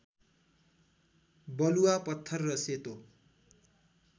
बलुआ पत्थर र सेतो